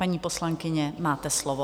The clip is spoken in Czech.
Paní poslankyně, máte slovo.